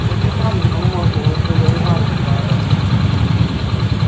даже вам его можно михаил иванович